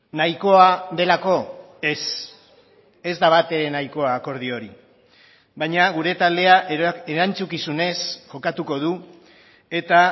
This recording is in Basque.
nahikoa delako ez ez da batere nahikoa akordio hori baina gure taldea erantzukizunez jokatuko du eta